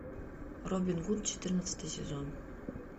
робин гуд четырнадцатый сезон